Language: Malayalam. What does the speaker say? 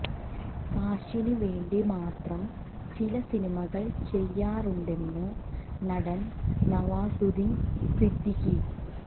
കാശിന് വേണ്ടി മാത്രം ചില സിനിമകൾ ചെയ്യാറുണ്ടെന്ന് നടൻ നവാസുദ്ദിൻ സിദ്ദിഖി